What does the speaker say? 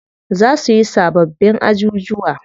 Za suyi sababbin ajujuwa.